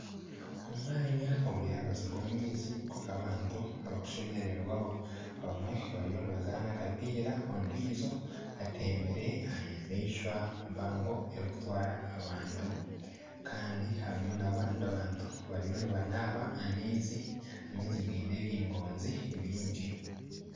Omwanya guri aha rubaju rw'amaizi guriho abantu abakushemererwaho abamwe bariyo nibazaana akapiira ondijo atembire aha nyamaishwa mpango erikutwara abantu kandi harimu n'abandi bantu bariyo nibanaba amaizi, amaizi giine ebingonzi byingi.